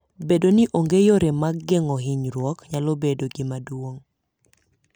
Bedo ni onge yore mag geng'o hinyruok nyalo bedo gima duong'.